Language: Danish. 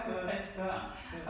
Ja. Ja